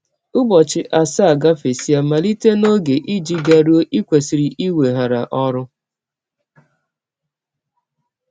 Ụbọchị asaa gafesịa malite n’ọge i ji garụọ i kwesịrị iweghara ọrụ. ”